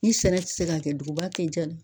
Ni sɛnɛ ti se ka kɛ duguba tɛ diya